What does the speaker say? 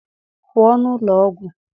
pụọ n'ụlọ ọgwụ!